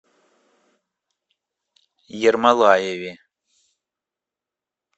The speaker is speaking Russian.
ермолаеве